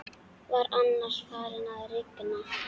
Var annars farið að rigna?